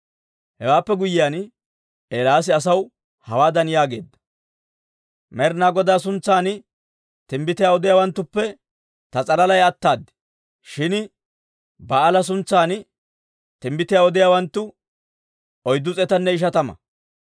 Hewaappe guyyiyaan Eelaasi asaw hawaadan yaageedda; «Med'inaa Godaa suntsan timbbitiyaa odiyaawanttuppe ta s'alalay ataad; shin Ba'aala suntsan timbbitiyaa odiyaawanttu oyddu s'eetanne ishatama.